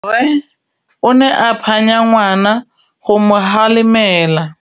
Rre o ne a phanya ngwana go mo galemela.